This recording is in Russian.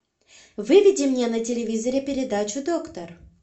выведи мне на телевизоре передачу доктор